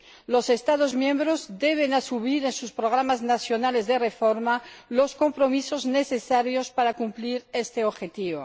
Los Estados miembros deben asumir, en sus programas nacionales de reforma, los compromisos necesarios para cumplir este objetivo.